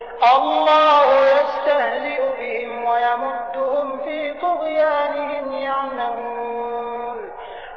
اللَّهُ يَسْتَهْزِئُ بِهِمْ وَيَمُدُّهُمْ فِي طُغْيَانِهِمْ يَعْمَهُونَ